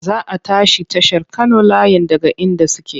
Za a tashi tashar Kano layin daga inda suke.